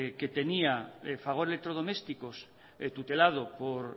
que tenía fagor electrodomésticos tutelado por